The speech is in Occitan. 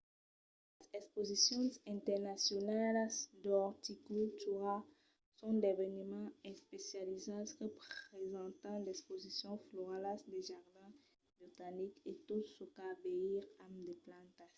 las exposicions internacionalas d’orticultura son d’eveniments especializats que presentan d'exposicions floralas de jardins botanics e tot çò qu'a a veire amb de plantas